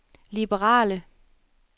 liberale